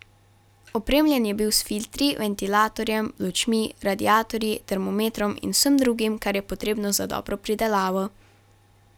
Opremljen je bil s filtri, ventilatorjem, lučmi, radiatorji, termometrom in vsem drugim, kar je potrebno za dobro pridelavo.